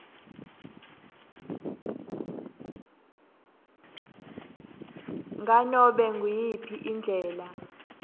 nganobe nguyiphi indlela